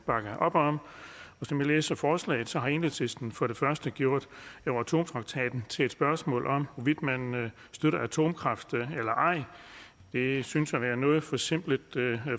bakke op om som jeg læser forslaget har enhedslisten for det første gjort euratom traktaten til et spørgsmål om hvorvidt man støtter atomkraft eller ej det synes at være en noget forsimplet